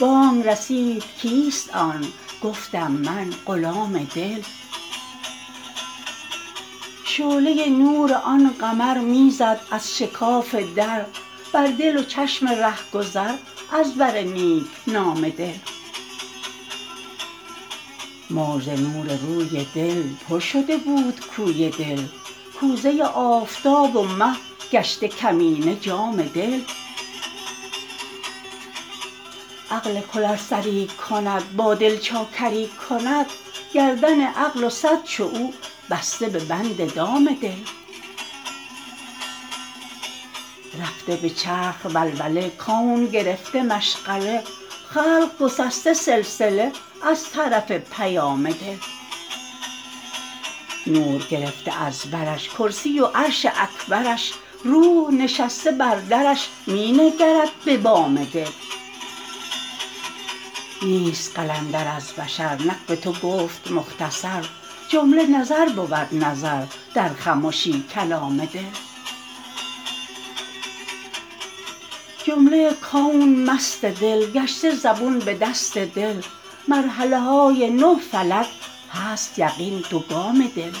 بانگ رسید کیست آن گفتم من غلام دل شعله نور آن قمر می زد از شکاف در بر دل و چشم رهگذر از بر نیک نام دل موج ز نور روی دل پر شده بود کوی دل کوزه آفتاب و مه گشته کمینه جام دل عقل کل ار سری کند با دل چاکری کند گردن عقل و صد چو او بسته به بند دام دل رفته به چرخ ولوله کون گرفته مشغله خلق گسسته سلسله از طرف پیام دل نور گرفته از برش کرسی و عرش اکبرش روح نشسته بر درش می نگرد به بام دل نیست قلندر از بشر نک به تو گفت مختصر جمله نظر بود نظر در خمشی کلام دل جمله کون مست دل گشته زبون به دست دل مرحله های نه فلک هست یقین دو گام دل